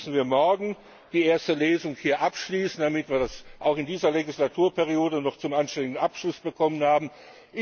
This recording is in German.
Deswegen müssen wir morgen die erste Lesung hier abschließen, damit wir das auch in dieser Legislaturperiode noch zu einem anständigen Abschluss bringen.